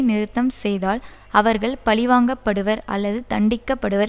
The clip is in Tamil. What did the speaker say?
நிறுத்தம் செய்தால் அவர்கள் பழிவாங்கப்படுவர் அல்லது தண்டிக்கப்படுவர்